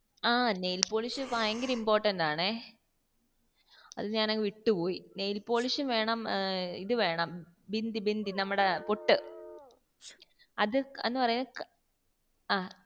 nail polish ഭയങ്ക important ആണേ അത് ഞാൻ അങ്ങ് വിട്ടുപോയി nail polish ഉം വേണം ഇത് വേണം നമ്മടെ പൊട്ട് അത് എന്നപറയാ